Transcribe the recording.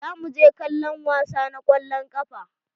Za mu je kallon wasa na kwallon ƙafa.